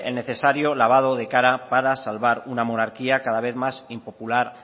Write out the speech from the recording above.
necesario lavado de cara para salvar una monarquía cada vez más impopular